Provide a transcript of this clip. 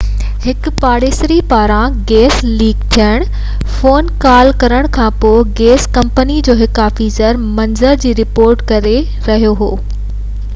هڪ پاڙيسري پاران گئس ليڪ ٿيڻ بابت فون ڪال ڪرڻ کانپوءِ گئس ڪمپني جو هڪ آفيسر منظر جي رپورٽ ڪري رهيو هو